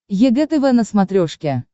егэ тв на смотрешке